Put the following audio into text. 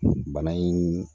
Bana in